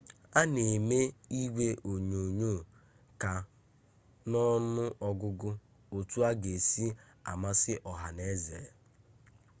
a na eme igwe onyonyo ka n'ọnụ ọgụgụ otu ọ ga-esi amasị ọha n'eze